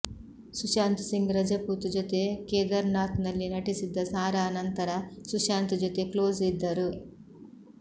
ಸುಶಾಂತ್ ಸಿಂಗ್ ರಜಪೂತ್ ಜೊತೆ ಕೇದಾರ್ನಾಥ್ನಲ್ಲಿ ನಟಿಸಿದ್ದ ಸಾರಾ ನಂತರ ಸುಶಾಂತ್ ಜೊತೆ ಕ್ಲೋಸ್ ಇದ್ದರು